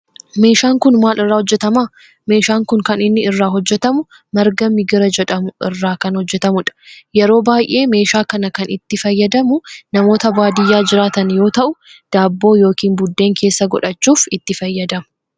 meeshaan kun maal irraa hojjetama? meeshaan kun kan inni irraa hojjetamu marga migira jedhamu irraa kan hojjetamudha. yeroo baayyee meeshaa kana kan itti fayyadamu namoota baadiyaa jiraatan yoo ta'u daabboo yookin buddeen keesssa godhachuf itti fayyadamu.